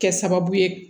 Kɛ sababu ye